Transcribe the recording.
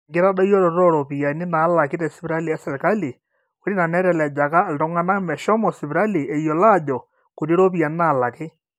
enkitadoyioroto ooropiyiani naalaki tesipitali esirkali- ore ina netelejaka iltung'anak meshomo sipitali eyiolo aajo kuti iropiyiani naalaki